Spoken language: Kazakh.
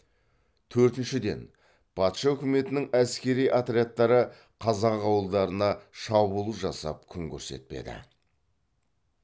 төртіншіден патша үкіметінің әскери отрядтары қазақ ауылдарына шабуыл жасап күн көрсетпеді